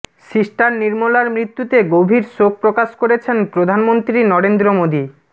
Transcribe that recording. sister নির্মলার মৃত্যুতে গভীর শোক প্রকাশ করেছেন প্রধানমন্ত্রী নরেন্দ্র মোদী